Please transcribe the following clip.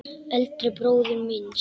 Eldri bróður míns?